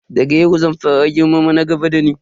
Daga yau zan fara girmama na gaba da ni.